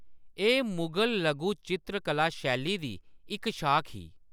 एह्‌‌ मुगल लघु चित्तरकला शैली दी इक शाख ही ।